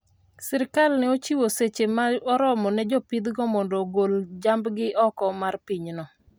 sirikal ne ochiwo seche ma oromo ne jopithgo mondo ogol jambgi oko mar pinyno